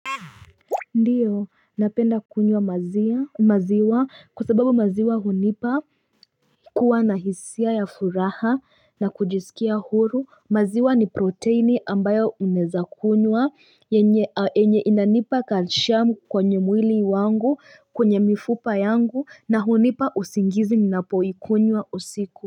Ndiyo napenda kunywa maziwa kwa sababu maziwa hunipa kuwa na hisia ya furaha na kujisikia huru maziwa ni proteini ambayo unaeza kunywa enye inanipa calcium kwenye mwili wangu kwenye mifupa yangu na hunipa usingizi ninapo ikunywa usiku.